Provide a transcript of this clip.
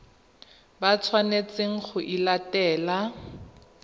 ba tshwanetseng go e latela